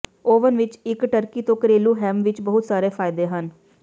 oven ਵਿੱਚ ਇੱਕ turkey ਤੋਂ ਘਰੇਲੂ ਹੈਮ ਵਿੱਚ ਬਹੁਤ ਸਾਰੇ ਫਾਇਦੇ ਹਨ